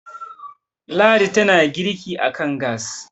ladi tana girki a kan gas